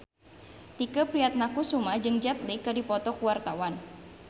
Tike Priatnakusuma jeung Jet Li keur dipoto ku wartawan